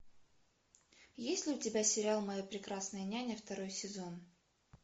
есть ли у тебя сериал моя прекрасная няня второй сезон